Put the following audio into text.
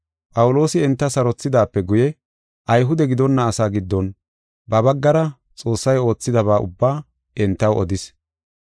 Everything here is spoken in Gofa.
Phawuloosi enta sarothidaape guye Ayhude gidonna asaa giddon ba baggara Xoossay oothidaba ubbaa entaw odis.